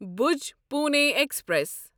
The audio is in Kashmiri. بھوج پُوٗنے ایکسپریس